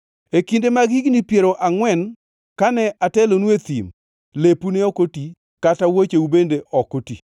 E kinde mag higni piero angʼwen kane atelonu e thim lepu ne ok oti kata wuocheu bende ok oti.